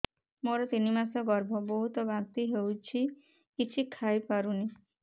ମୋର ତିନି ମାସ ଗର୍ଭ ବହୁତ ବାନ୍ତି ହେଉଛି କିଛି ଖାଇ ପାରୁନି